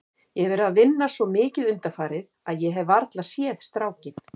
Ég hef verið að vinna svo mikið undanfarið að ég hef varla séð strákinn.